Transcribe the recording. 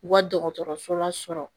U ka dɔgɔtɔrɔsola sɔrɔ